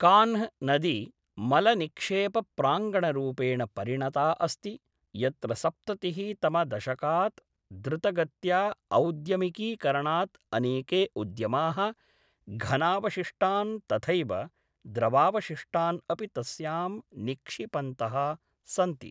कान्ह् नदी मलनिक्षेपप्राङ्गणरूपेण परिणता अस्ति, यत्र सप्ततिहि तमदशकात् द्रुतगत्या औद्यमिकीकरणात् अनेके उद्यमाः घनावशिष्टान् तथैव द्रवावशिष्टान् अपि तस्यां निक्षिपन्तः सन्ति।